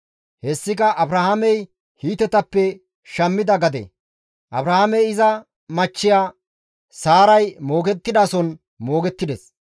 Hessika Abrahaamey Hiitetappe shammida gade. Abrahaamey ba machchiya Saaray moogettidason moogettides.